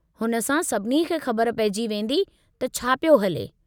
हुन सां सभिनी खे ख़बर पेइजी वेंदी त छा पियो हले।